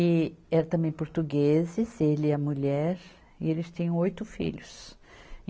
E eram também portugueses, ele e a mulher, e eles tinham oito filhos.